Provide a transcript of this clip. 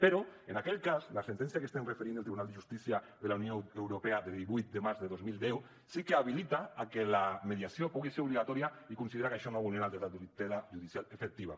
però en aquell cas la sentència que estem referint del tribunal de justícia de la unió europea de divuit de març de dos mil deu sí que habilita a que la mediació pugui ser obligatòria i considera que això no vulnera el dret a tutela judicial efectiva